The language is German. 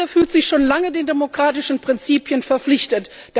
Malaysia fühlt sich schon lange den demokratischen Prinzipien verpflichtet.